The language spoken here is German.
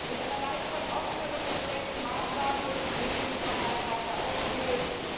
Durch eine Reihe von offenen und versteckten Maßnahmen wurde die Medienfreiheit weiter ausgehöhlt.